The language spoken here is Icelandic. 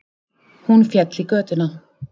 Hún féll í götuna